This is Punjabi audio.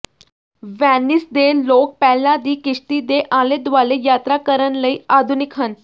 ਵੈਨਿਸ ਦੇ ਲੋਕ ਪਹਿਲਾਂ ਹੀ ਕਿਸ਼ਤੀ ਦੇ ਆਲੇ ਦੁਆਲੇ ਯਾਤਰਾ ਕਰਨ ਲਈ ਆਧੁਨਿਕ ਹਨ